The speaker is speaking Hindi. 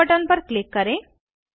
सेव बटन पर क्लिक करें